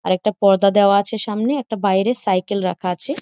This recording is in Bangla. আর একটা পর্দা দেওয়া আছে সামনে একটা বাইরে সাইকেল রাখা আছে।